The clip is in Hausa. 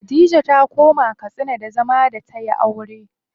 Khadija ta koma Katsina da zama da tayi aure.